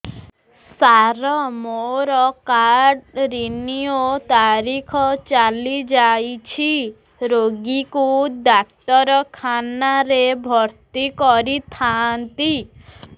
ସାର ମୋର card renew ତାରିଖ ଚାଲି ଯାଇଛି ରୋଗୀକୁ ଡାକ୍ତରଖାନା ରେ ଭର୍ତି କରିଥାନ୍ତି